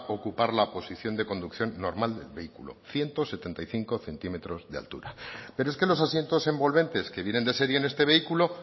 ocupar la posición de conducción normal del vehículo ciento setenta y cinco cm de altura pero es que los asientos envolventes que vienen de serie en este vehículo